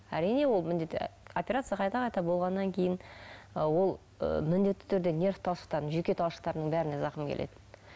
әрине ол операция қайта қайта болғаннан кейін ы ол ы міндетті түрде нерв талшықтарының жүйке талшықтарының бәріне зақым келеді